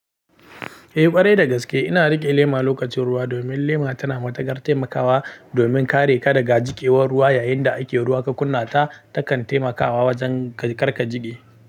Ƙwarai da gaske ina riƙe lema lokacin ruwa domin lema tana matukar taimakawa domin kare ka daga jikewar ruwa yayin da ake ruwa ka kunna ta takan taimakawa wajen kar ka jige.